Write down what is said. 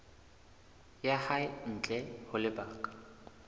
ya hae ntle ho lebaka